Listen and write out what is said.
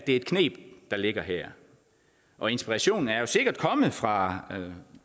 et kneb der ligger her og inspirationen er jo sikkert kommet fra